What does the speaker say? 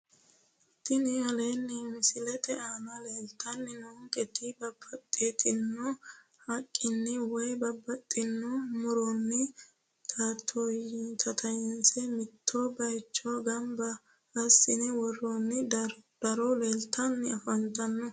Tini aleenni misilete aana leeltanni noonketi babbaxxitino haqqenni woyi babbaxxitino muronni tattayinse mitto baycho gamba assine worroonni daro leeltanni afantanno